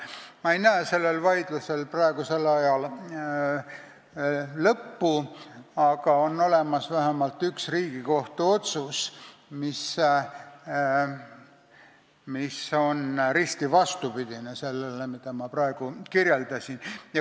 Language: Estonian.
Ma ei näe sellel vaidlusel praegusel ajal lõppu, aga vähemalt on olemas üks Riigikohtu otsus, mis on risti vastupidine sellele, mida ma praegu kirjeldasin.